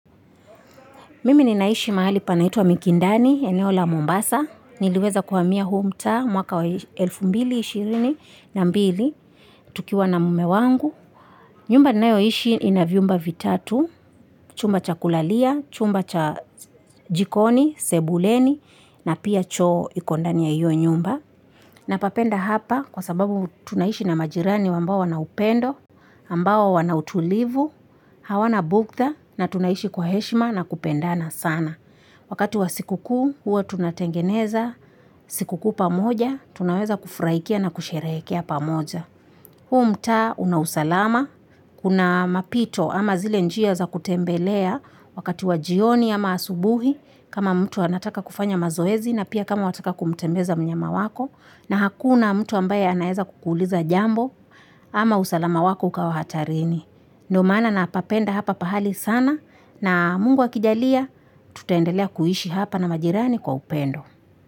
Mimi ni naishi mahali panaitwa Mikindani eneo la mombasa niliweza kuhamia huu mtaa mwaka wa elfu mbili ishirini na mbili tukiwa na mumewangu nyumba ninayo ishi ina viumba vitatu chumba cha kulalia, chumba cha jikoni, sebuleni na pia choo iko ndani ya hiyo nyumba napapenda hapa kwa sababu tunaishi na majirani ambao wanaupendo ambao wanautulivu hawanabuktha na tunaishi kwa heshima na kupendana sana wakati wa siku kuu, huwa tunatengeneza siku kuu pamoja tunaweza kufurahikia na kusherehekea pamoja huu mtaa una usalama kuna mapito ama zile njia za kutembelea wakati wa jioni ama asubuhi kama mtu anataka kufanya mazoezi na pia kama wataka kutembeza mnyama wako na hakuna mtu ambaye anaeza kukuuliza jambo ama usalama wako ukawa hatarini ndo maana napapenda hapa pahali sana na mungu akijalia tutaendelea kuishi hapa na majirani kwa upendo.